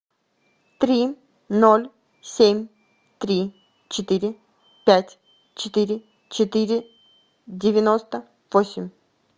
три ноль семь три четыре пять четыре четыре девяносто восемь